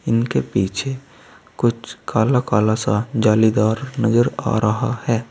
उनके पीछे कुछ काला काला सा जालीदार नजर आ रहा है।